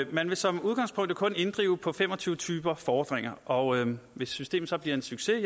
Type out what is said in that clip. man vil som udgangspunkt kun inddrive på fem og tyve typer fordringer og hvis systemet så bliver en succes